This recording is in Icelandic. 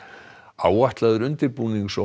áætlaður undirbúnings og